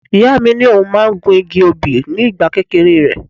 Ìyá mi ní òun máa ń gun igi obì ní ìgbà kékeré rẹ̀.